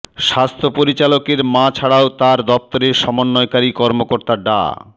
স্বাস্থ্য পরিচালকের মা ছাড়াও তার দপ্তরের সমন্বয়কারী কর্মকর্তা ডা